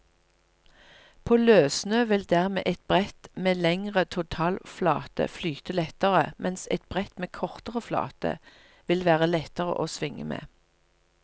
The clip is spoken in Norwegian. På løssnø vil dermed et brett med lengre totalflate flyte lettere, mens et brett med kortere flate vil være lettere å svinge med.